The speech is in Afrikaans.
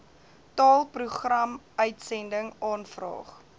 taal programuitsending aanvraag